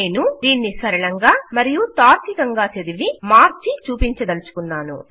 నేను దీన్ని సరళంగా మరియు తార్కికంగా చదివి మార్చి చూపించదలచుకున్నాను